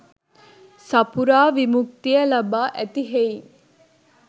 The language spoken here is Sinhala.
සපුරා විමුක්තිය ලබා ඇති හෙයින්